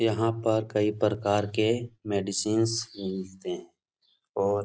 यहाँ पर कई प्रकार के मेडिसिन्स मिलते है और --